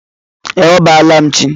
E, a bọọla m chi.